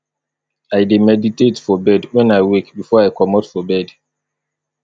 i dey meditate for bed wen i wake before i comot for bed